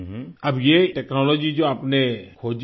हम्म अब ये टेक्नोलॉजी जो आपने खोजी